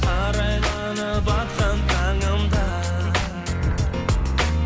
арайланып атқан таңым да